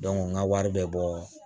n ka wari bɛ bɔ